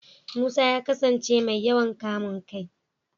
Musa ya kasance mai yawan kamun kai.